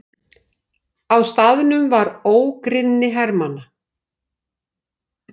Á staðnum var ógrynni hermanna.